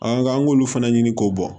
an k'olu fana ɲini k'o bɔ